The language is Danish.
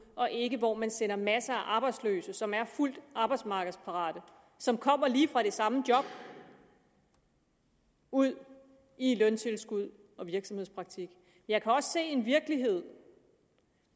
og ikke hvor man sender masser af arbejdsløse som er fuldt arbejdsmarkedsparate og som kommer lige fra det samme job ud i løntilskud og virksomhedspraktik jeg kan også se en virkelighed